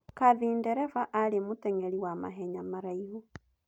Catherine Ndereba aarĩ mũtenyeri wa mahenya maraihu.